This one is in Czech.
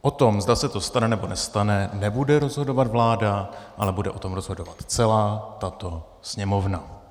O tom, zda se to stane, nebo nestane, nebude rozhodovat vláda, ale bude o tom rozhodovat celá tato Sněmovna.